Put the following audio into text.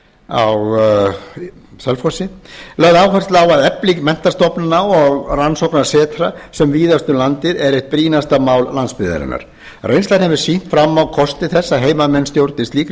á selfossi lögð áhersla á að efling menntastofnana og rannsóknasetra sem víðast um landið er eitt brýnasta mál landsbyggðarinnar reynslan hefur sýnt fram á kosti þess að heimamenn stjórni slíkri